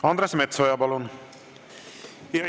Andres Metsoja, palun!